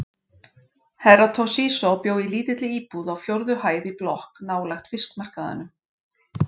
Herra Toshizo bjó í lítilli íbúð á fjórðu hæð í blokk nálægt fiskmarkaðinum.